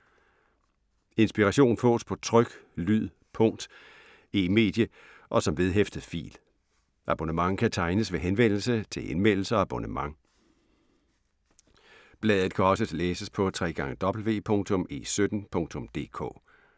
Inspiration fås på tryk, lyd, punkt, e-medie og som vedhæftet fil. Abonnement kan tegnes ved henvendelse til Indmeldelse og abonnement. Bladet kan også læses på www.e17.dk